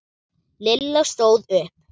Lilla stóð upp.